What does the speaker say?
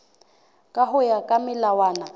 ka ho ya ka melawana